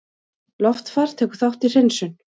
Loftfar tekur þátt í hreinsun